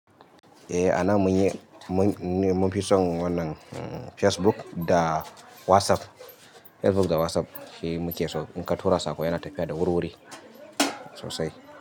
Eh anan mun yi, mun fi son wannan Facebook da WhatsApp. Facebook da WhatsApp shi muke so. In ka tura saƙo yana tafiya da wuriwuri sosai.